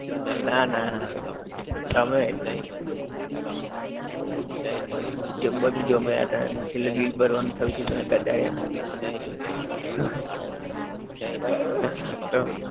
ના ના તમે જેમ બાજુ જમ્યા ત્યાં અને છેલે bill ભરવાનું થયું ત્યારે ઘટાડીયા હતા તો